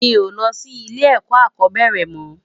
Mi ó lò si ilé èkò ákòbèrè mò